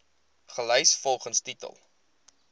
gelys volgens titel